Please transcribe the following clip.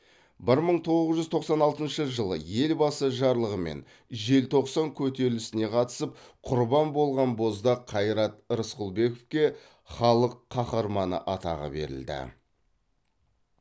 бір мың тоғыз жүз тоқсан алтыншы жылы елбасы жарлығымен желтоқсан көтерілісіне қатысып құрбан болған боздақ қайрат рысқұлбековке халық қаһарманы атағы берілді